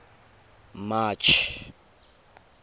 march